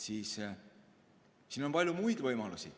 Siin on palju muid võimalusi.